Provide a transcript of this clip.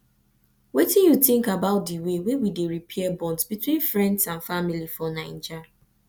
wetin you think about di way wey we dey repair bonds between friends and family for naija